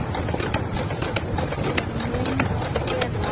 Það er minna að gera.